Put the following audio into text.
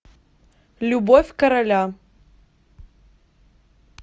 любовь короля